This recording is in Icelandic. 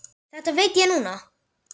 Það veit ég núna.